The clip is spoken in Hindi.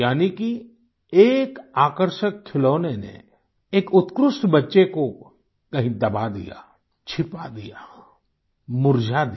यानी कि एक आकर्षक खिलौने ने एक उत्कृष्ठ बच्चे को कहीं दबा दिया छिपा दिया मुरझा दिया